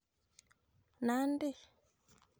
Nandi